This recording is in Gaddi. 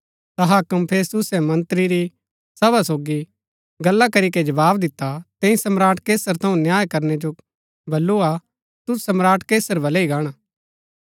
ता हाक्म फेस्तुसै मन्त्री री सभा सोगी गल्ला करीके जवाव दिता तैंई सम्राट कैसर थऊँ न्याय करनै जो बल्लू हा ता तुद सम्राट कैसर वलै ही गाणा